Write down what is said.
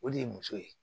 O de ye muso ye